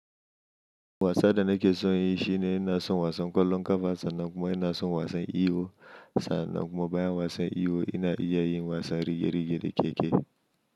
Wasan da nake so yin shi ne ina son wasan ƙwallon ƙafa, sannan kuma ina son wasan iwo sannan kuma bayan wasan iwo ina iya yin wasan rige-rige da keke.